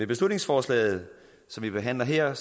beslutningsforslaget som vi behandler her